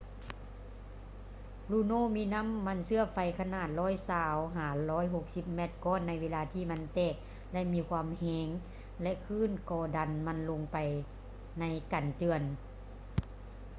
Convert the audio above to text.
luno ມີນໍ້າມັນເຊື້ອໄຟຂະໜາດ 120-160 ແມັດກ້ອນໃນເວລາທີ່ມັນແຕກ ແລະ ມີລົມແຮງ ແລະ ຄື້ນກໍດັນມັນລົງໄປໃນກັນເຈື່ອນ